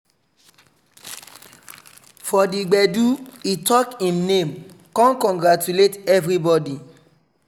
for di gbedu he talk him name con congratulate evribodi.